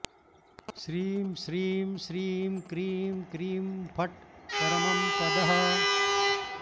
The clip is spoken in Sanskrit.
श्रीं श्रीं श्रीं क्रीं क्रीं फट् परमं पदः